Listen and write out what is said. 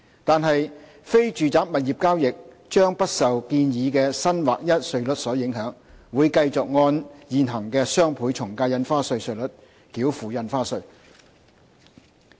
但是，非住宅物業交易將不受建議的新劃一稅率所影響，而是會繼續按現行的雙倍從價印花稅稅率繳付印花稅。